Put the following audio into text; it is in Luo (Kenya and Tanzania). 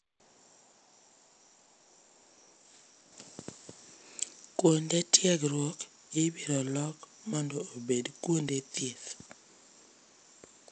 Kuonde tiegruok ibiro lok mondo obed kuonde thieth.